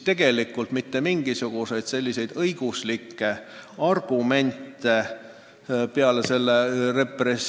Tegelikult mitte mingisuguseid õiguslikke argumente seal ei arutatud.